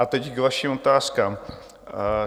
A teď k vašim otázkám.